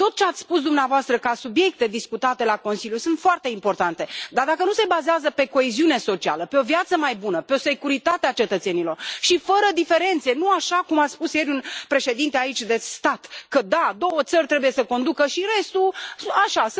Tot ce ați spus dumneavoastră ca subiecte discutate la Consiliu sunt foarte importante, dar, dacă nu se bazează pe coeziune socială, pe o viață mai bună, pe o securitate a cetățenilor și fără diferențe, nu așa cum a spus ieri un președinte de stat aici că da, două țări trebuie să conducă, iar restul așa,